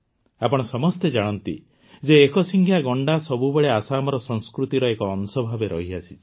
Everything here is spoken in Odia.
ଆପଣ ସମସ୍ତେ ଜାଣନ୍ତି ଯେ ଏକଶିଙ୍ଗିଆ ଗଣ୍ଡା ସବୁବେଳେ ଆସାମର ସଂସ୍କୃତିର ଏକ ଅଂଶ ଭାବେ ରହିଆସିଛି